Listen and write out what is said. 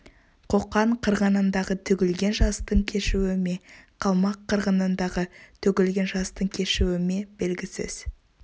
қоқан қырғынындағы төгілген жастың кешуі ме қалмақ қырғынындағы төгілген жастың кешуі ме белгісіз